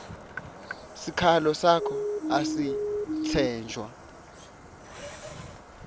sikhalo sakho asisetjentwa